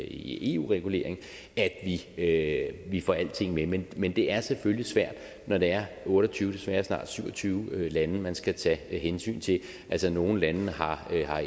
i eu regulering at at vi får alting med men men det er selvfølgelig svært når det er otte og tyve desværre snart syv og tyve lande man skal tage hensyn til altså nogle lande har har